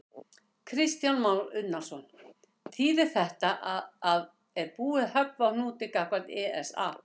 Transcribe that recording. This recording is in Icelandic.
Kristján Már Unnarsson: Þýðir þetta að það er búið að höggva á hnútinn gagnvart ESA?